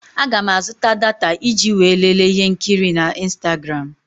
Aga m azụta data iji wee lelee ihe nkiri na ịnstagram.